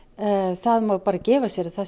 það má bara gefa sér að það